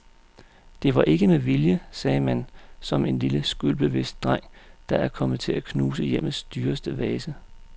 Det var ikke med vilje, sagde man som en lille skyldbevidst dreng, der er kommet til at knuse hjemmets dyreste vase.